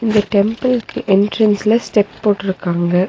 இந்த டெம்பிள்க்கு எண்ட்ரன்ஸ்ல ஸ்டெப் போட்ருக்காங்க.